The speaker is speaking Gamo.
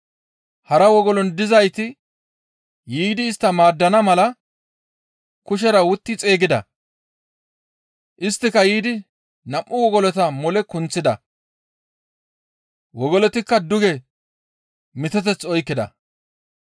Hara wogolon dizayti yiidi istta maaddana mala kushera wutti xeygida. Isttika yiidi nam7u wogolota mole kunththida. Wogolotikka duge miteteth oykkida.